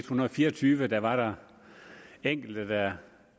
hundrede og fire og tyve var der enkelte der